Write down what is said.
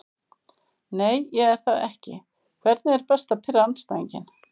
Nei ég er það ekki Hvernig er best að pirra andstæðinginn?